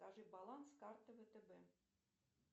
покажи баланс карты втб